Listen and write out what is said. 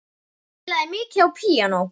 Hún spilaði mikið á píanó.